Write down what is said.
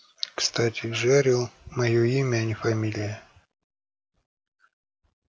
кстати джерилл моё имя а не фамилия